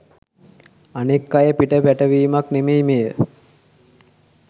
අනෙක් අය පිට පැටවීමක් නෙමෙයි මෙය